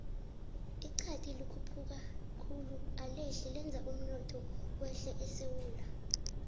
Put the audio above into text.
ixadi likhuphuka khulu alehli lenza umnotho wehle esewula